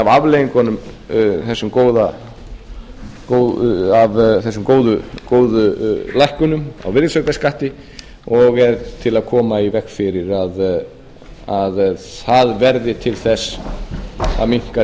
afleiðingunum af þessum góðu lækkunum á virðisaukaskatti og er til að koma í veg fyrir að það verði til þess að minnka tekjur